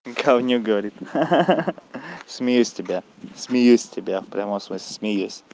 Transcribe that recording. гавнюк говорит ха-ха смеюсь с тебя смеюсь с тебя в прямом смысле смеюсь